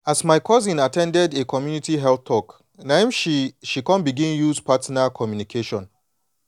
as my cousin at ten ded a community health talk na em she she come begin use partner communication